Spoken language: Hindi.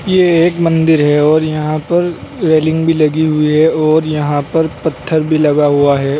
ये एक मंदिर है और यहां पर रेलिंग भी लगी हुई है और यहां पर पत्थर भी लगा हुआ है।